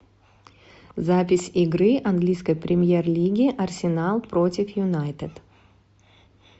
запись игры английской премьер лиги арсенал против юнайтед